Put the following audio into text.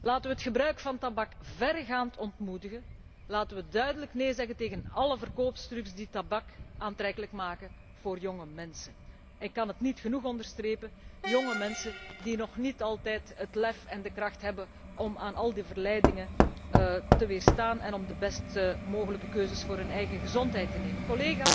Laten we het gebruik van tabak verregaand ontmoedigen, laten we duidelijk néé zeggen tegen álle verkooptrucs die tabak aantrekkelijk maken voor jonge mensen, die ik kan het niet genoeg onderstrepen nog niet altijd het lef en de kracht hebben om aan al die verleidingen te weerstaan en de best mogelijke keuzes voor hun eigen gezondheid te maken.